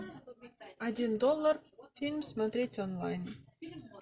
один доллар фильм смотреть онлайн